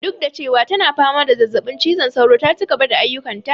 Duk da cewa tana fama da zazzaɓin cizon sauro ta cigaba da ayyukan ta